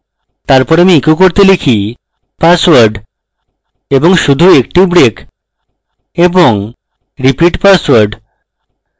তারপর আমি echo করলে লিখি password এবং শুধু একটি break এবং $repeat password